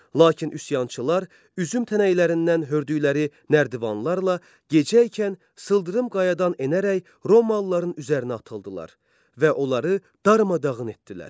Lakin üsyançılar üzüm tənəklərindən hördükləri nərdivanlarla gecə ikən sıldırım qayadan enərək Romalıların üzərinə atıldılar və onları darmadağın etdilər.